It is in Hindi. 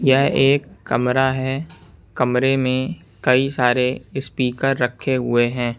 यह एक कमरा है कमरे में कई सारे स्पीकर रखे हुए हैं।